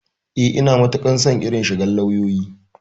Eh, Ina matukar son irin shigar lauyoyi.